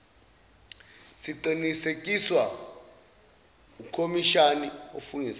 siqinisekiswa ukhomishnni ofungusayo